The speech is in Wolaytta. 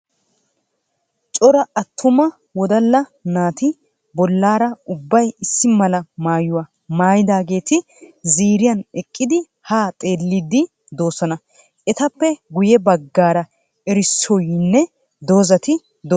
Cora attuma wodalla naati bollaara ubbay issi mala maayuwa mayidaageeti ziiriyan eqqidi haa xelliiddi doosona. Etappe guyye baggaara erissoyinne dozzati de'oosona.